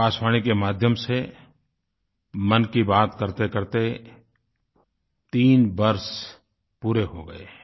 आकाशवाणी के माध्यम से मन की बात करतेकरते तीन वर्ष पूरे हो गए हैं